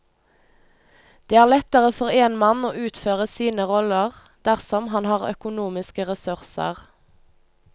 Det er lettere for en mann å utføre sine roller dersom han har økonomiske ressurser.